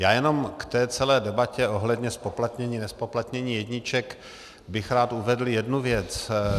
Já jenom k té celé debatě ohledně zpoplatnění-nezpoplatnění jedniček bych rád uvedl jednu věc.